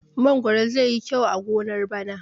Mangwaro zai yi kyau a gonar bana.